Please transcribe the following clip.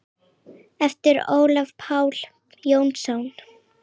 eftir Ólaf Pál Jónsson